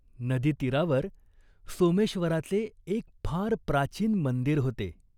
नदीतीरावर सोमेश्वराचे एक फार प्राचीन मंदीर होते.